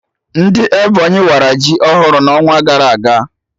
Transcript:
Ndị Ebonyi wara ji ọhụrụ n'ọnwa gara aga